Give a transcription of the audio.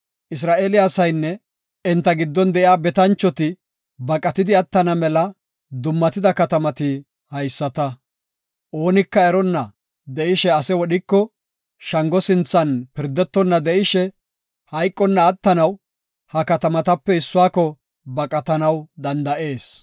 Isra7eele asaynne enta giddon de7iya betanchoti baqatidi attana mela dummatida katamati haysata. Oonika eronna de7ishe ase wodhiko, shango sinthan pirdetonna de7ishe, hayqonna attanaw ha katamatape issuwako baqatanaw danda7ees.